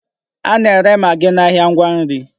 A na-ere magị n'ahịa ngwa nri.